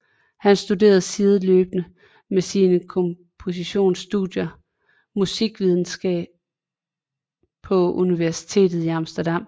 Han studerede sideløbende med sine kompositionsstudier musikvidenskab på Universitetet i Amsterdam